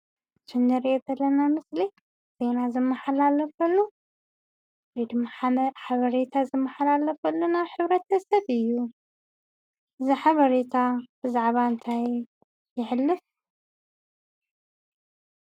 እቲ ንሪኦ ዘለና ምስሊ ዜና ዝመሓላለፈሉ ወይ ድማ ሓበሬታ ዝመሓላለፈሉ ናብ ሕብረተሰብ እዩ፡፡ እዚ ሓበሬታ ብዛዕባ እንታይ የሕልፍ?